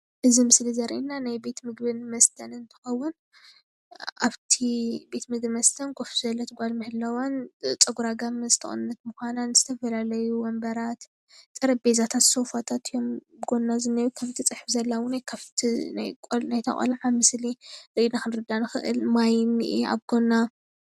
እዚ ምስሊ እዚ ዘርእየና ናይ ቤት ምግብን መስተን እንትኸውን ኣብቲ ቤት ምግቢን መስተን ኮፍ ዝበለት ጓል ምህላዋን ፀጉራ ጋመዝተቆነነት ምዃናን ዝተፈላለዩ ወንበራት ጠረጴዛታት ሶፋታት እዮም ኣብ ጎና ዘንሄው ከምትፅሕፍ ዘላውን ካብቲ ናይታ ቆልዓ ምስሊ ርእይና ክንርዳእ ንክእል ማይ ኢንኦ ኣብ ጎና።